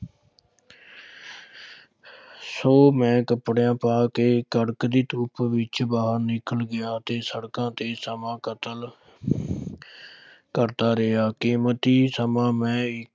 ਸੋ ਮੈਂ ਕਪੜੇ ਪਾ ਕੇ ਕੜਕਦੀ ਧੁੱਪ ਵਿਚ ਬਾਹਰ ਨਿਕਲ ਗਿਆ ਤੇ ਸੜਕਾਂ ਤੇ ਸਮਾਂ ਕਤਲ ਕਰਦਾ ਰਿਹਾ, ਕੀਮਤੀ ਸਮਾਂ ਮੈਂ